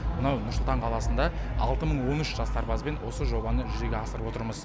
мынау нұр сұлтан қаласында алты мың он үш жас сарбазбен осы жобаны жүзеге асырып отырмыз